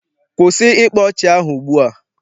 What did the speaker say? Kwụsị ịkpa ọchị ahụ ugbua!